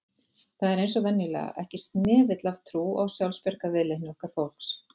Það er eins og venjulega, ekki snefill af trú á sjálfsbjargarviðleitni okkar fólks